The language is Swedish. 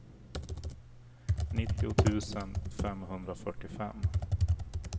nittio tusen femhundrafyrtiofem